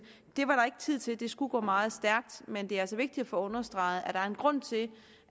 det var der ikke tid til det skulle gå meget stærkt men det er altså vigtigt at få understreget at der er en grund til